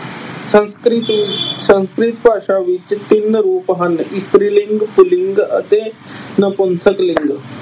ਸੰਸਕ੍ਰਿਤ ਅਹ ਸੰਸਕ੍ਰਿਤ ਭਾਸ਼ਾ ਵਿੱਚ ਤਿੰਨ ਰੂਪ ਹਨ। ਇਸਤਰੀ ਲਿੰਗ, ਪੁਲਿੰਗ ਅਤੇ ਨਿਪੁੰਸਕ ਲਿੰਗ।